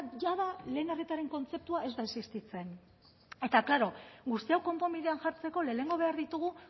jada lehen arretaren kontzeptua ez da existitzen eta klaro guzti hau konponbidean jartzeko lehenengo behar ditugu